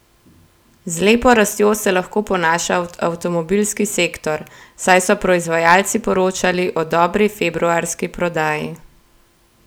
Z lepo rastjo se lahko ponaša avtomobilski sektor, saj so proizvajalci poročali o dobri februarski prodaji.